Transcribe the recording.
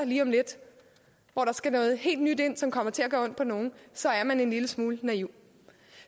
lige om lidt hvor der skal noget helt nyt ind som kommer til at gøre ondt på nogen så er man en lille smule naiv